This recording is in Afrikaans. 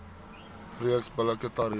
reeks billike tariewe